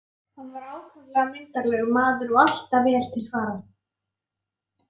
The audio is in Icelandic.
Hann var ákaflega myndarlegur maður og alltaf vel til fara.